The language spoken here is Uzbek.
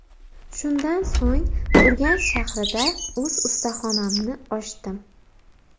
Shundan so‘ng Urganch shahrida o‘z ustaxonamni ochdim.